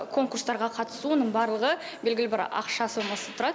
конкурстарға қатысу оның барлығы белгілі бір ақша сомасы тұрады